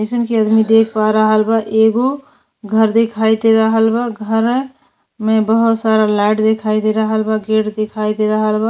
जइसन की अदमी देख पा रहल बा एगो घ दिखाई दे रहल बा। घरै में बहोत सारा लाइट दिखाई दे रहल बा गेट दिखाई दे रहल बा।